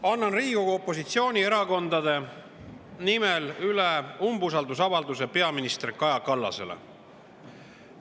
Annan Riigikogu opositsioonierakondade nimel üle umbusaldusavalduse peaminister Kaja Kallasele.